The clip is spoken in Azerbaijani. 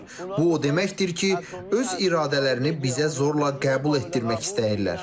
Bu o deməkdir ki, öz iradələrini bizə zorla qəbul etdirmək istəyirlər.